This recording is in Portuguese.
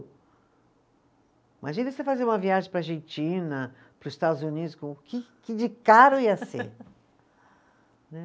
Imagina você fazer uma viagem para a Argentina, para os Estados Unidos, que que de caro ia ser, né